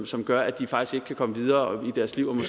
som gør at de faktisk ikke kan komme videre i deres liv